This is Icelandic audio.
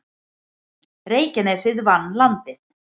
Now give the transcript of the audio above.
Reykjanesið vann Landið